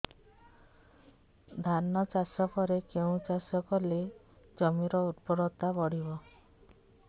ଧାନ ଚାଷ ପରେ କେଉଁ ଚାଷ କଲେ ଜମିର ଉର୍ବରତା ବଢିବ